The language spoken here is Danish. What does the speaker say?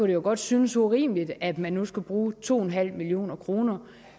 jo godt synes urimeligt at man nu skal bruge to en halv million kroner